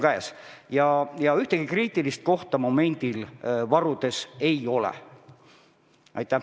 Nii et ühtegi kriitilist kohta momendil varudega seotud ei ole.